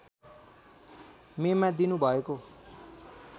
मेमा दिनु भएको